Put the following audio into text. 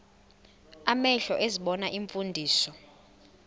amehlo ezibona iimfundiso